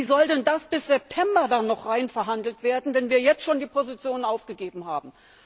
Wie soll denn das bis September noch reinverhandelt werden, wenn wir jetzt schon die Positionen aufgegeben haben?